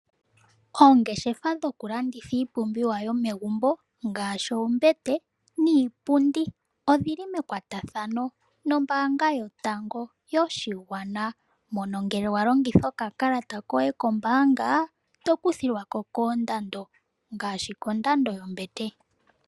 Oongeshefa dhokulanditha iipumbiwa yomegumbo ngaashi oombete niipundi odhi li mekwatathano nombaanga yotango yopashigwana, mono ngele wa longitha okakalata koye kombaanga to kuthilwa ko koondando ngaashi kondando yombete.